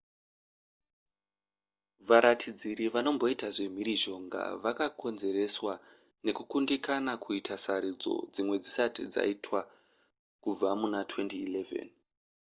varatidziri vanomboita zvemhirizhonga vakakonzereswa nekukundikana kuita sarudzo dzimwe dzisati dzaitwa kubva muna 2011